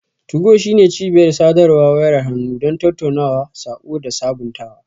2go shine cibiyar sadarwar wayar hannu don tattaunawa, saƙo, da sabuntawa.